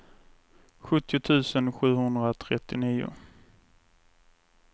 sjuttio tusen sjuhundratrettionio